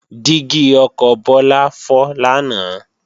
Dígí ọkọ̀ Bọ́lá fọ́ lánàá